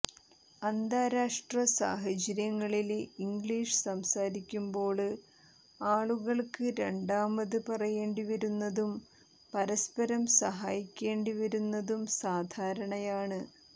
അന്താരാഷ്ട്ര സാഹചര്യങ്ങളില് ഇംഗ്ലീഷ് സംസാരിക്കുമ്പോള് ആളുകള്ക്ക് രണ്ടാമത് പറയേണ്ടി വരുന്നതും പരസ്പരം സഹായിക്കേണ്ടി വരുന്നതും സാധാരണയാണ്